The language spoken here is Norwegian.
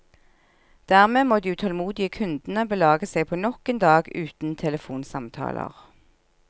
Dermed må de utålmodige kundene belage seg på nok en dag uten telefonsamtaler.